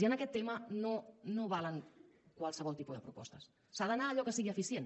i en aquest tema no valen qualsevol tipus de propostes s’ha d’anar a allò que sigui eficient